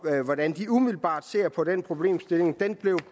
hvordan de umiddelbart ser på den problemstilling der